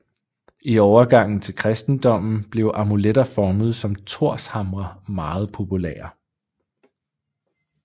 I overgangen til kristendommen blev amuletter formet som thorshamre meget populære